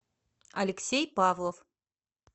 алексей павлов